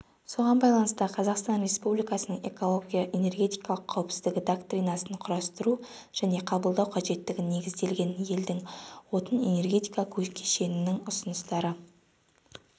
соған байланысты қазақстан республикасының эколого-энергетикалық қауіпсіздігі доктринасын құрастыру және қабылдау қажеттігі негізделген елдің отын-энергетика кешенінің ұсыныстарды